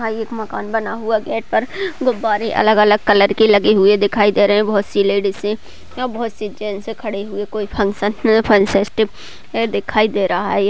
यहाँ एक मकान बना हुआ गेट पर गुब्बारे अलग - अलग कलर के लगे हुए दिखाई दे रहे है बहुत सी लेडीसे जेन्स खड़े हुए कोई फंक्शन फंसेस्टीवे दिखाई दे रहा है ये --